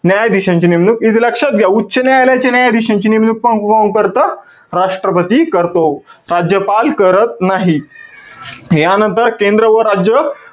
न्यायाधीशांची नेमणूक. इथे लक्षात घ्या. उच्च न्यायालयाचे न्यायाधीशांची नेमणूक को~ कोण करतं? राष्ट्रपती करतो. राज्यपाल करत नाही. यानंतर केंद्र व राज्य,